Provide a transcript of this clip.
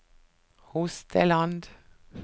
Hosteland